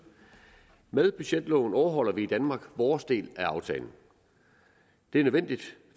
med budgetloven overholder vi i danmark vores del af aftalen det er nødvendigt